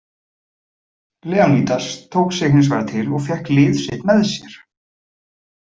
Leonídas tók sig hins vegar til og fékk lið sitt með sér.